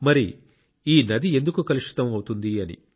మరి ఈ నది ఎందుకు కలుషితం అవుతుంది అని